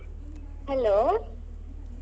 Hello.